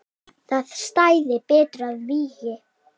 Það stæði betur að vígi.